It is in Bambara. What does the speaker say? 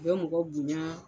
U bɛ mɔgɔ bonya